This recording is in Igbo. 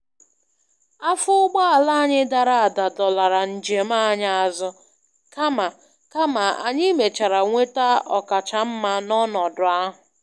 Afọ ụgbọala anyị dara ada dọlara njem anyị azụ, kama kama anyị mèchàrà nweta ọkacha mma n'ọnọdụ ahụ.